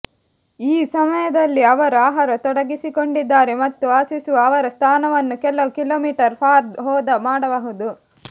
ಈ ಸಮಯದಲ್ಲಿ ಅವರು ಆಹಾರ ತೊಡಗಿಸಿಕೊಂಡಿದ್ದಾರೆ ಮತ್ತು ವಾಸಿಸುವ ಅವರ ಸ್ಥಾನವನ್ನು ಕೆಲವು ಕಿಲೋಮೀಟರ್ ಫಾರ್ ಹೋದ ಮಾಡಬಹುದು